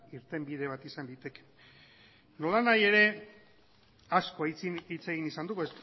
interbide bat izan daiteke nolanahi ere asko hitz egin izan dugu